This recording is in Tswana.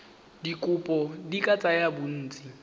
dikopo di ka tsaya bontsi